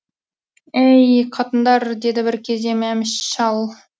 әи й қатындар деді бір кезде мәміш шал